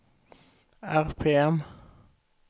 RPM